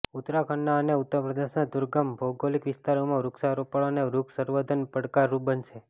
ઉત્તરાખંડના અને ઉત્તર પ્રદેશના દુર્ગમ ભૌગોલિક વિસ્તારોમાં વૃક્ષારોપણ અને વૃક્ષ સંવધર્ન પડકારરૂપ બનશે